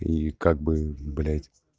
и как бы блять